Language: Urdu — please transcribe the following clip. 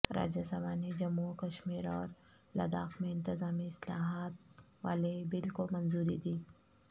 راجہ سبھا نے جموں و کشمیر اور لداخ میں انتظامی اصلاحات والےبل کو منظوری دی